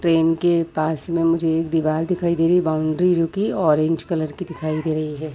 Train के पास में मुझे एक दीवाल दिखाई दे रही है बाउंड्री जो की ऑरेंज कलर की दिखाई दे रही है।